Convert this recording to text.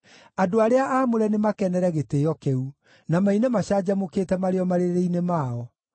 Andũ arĩa aamũre nĩmakenere gĩtĩĩo kĩu, na maine macanjamũkĩte marĩ o marĩrĩ-inĩ mao.